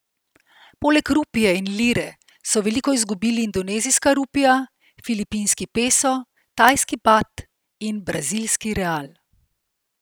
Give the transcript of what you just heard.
Poleg rupije in lire so veliko izgubili indonezijska rupija, filipinski peso, tajski baht in brazilski real.